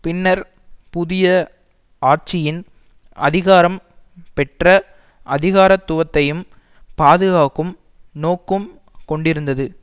பின்னர் புதிய ஆட்சியின் அதிகாரம் பெற்ற அதிகாரத்துவத்தையும் பாதுகாக்கும் நோக்கும் கொண்டிருந்தது